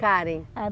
Karen. Ah